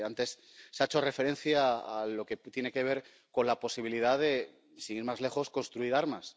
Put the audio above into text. Antes se ha hecho referencia a lo que tiene que ver con la posibilidad de, sin ir más lejos, construir armas.